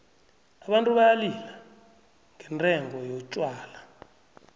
abantu bayalila ngendengo yotjhwala